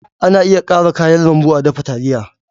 Ana iya ƙara kayan lambu a dafa taliya.